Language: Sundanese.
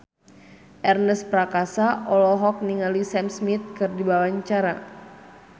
Ernest Prakasa olohok ningali Sam Smith keur diwawancara